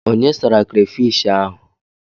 Onye sara krafish ahụ?